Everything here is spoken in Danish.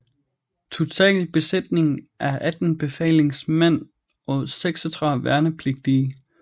Total besætning er 18 befalingsmænd og 36 værnepligtige